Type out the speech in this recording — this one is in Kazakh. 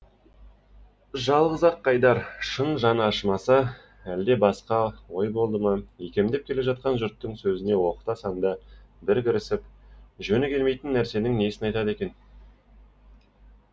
жалғыз ақ қайдар шын жаны ашымаса әлде басқа ой болды ма икемдеп келе жатқан жұрттың сөзіне оқта санда бір кірісіп жөні келмейтін нәрсенің несін айтады екен